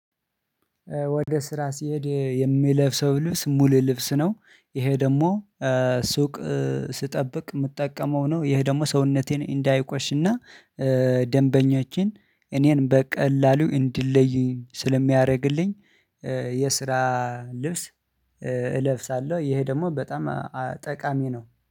ወደ ስራ ሲሄድ የሚለብሰው ልብስ ሙሉ ልብስ ነው ይሄ ደግሞ ሱቅ ስጠብቅ የምጠቀመው ነው። ይሄ ደግሞ ሰውነቴን እንዳይቆሽና ደንበኛችን እኔን በቀላሉ እንድለዩኝ ስለሚያረግልኝ የስራ ልብስ እለብሳለሁ። ይሄ ደግሞ በጣም ጠቃሚ ነው